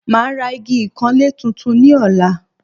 Màá ra igi ìkanlé tuntun ní ọ̀la